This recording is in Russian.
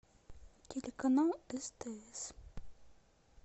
телеканал стс